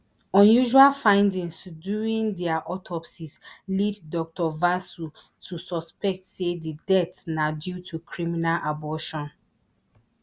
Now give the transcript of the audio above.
unusual findings during dia autopsies lead dr vasu to suspect say di deaths na due to criminal abortion